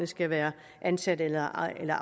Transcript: skal være ansat eller ej eller